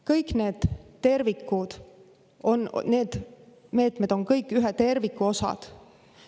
Kõik need meetmed on ühe terviku osad.